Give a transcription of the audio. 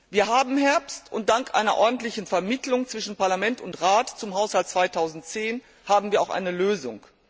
Wir haben Herbst, und dank einer ordentlichen Vermittlung zwischen Parlament und Rat zum Haushalt 2010 haben wir auch eine Lösung.